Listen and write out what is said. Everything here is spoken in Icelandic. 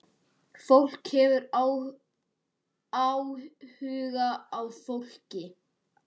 Fólk hefur áhuga á fólki.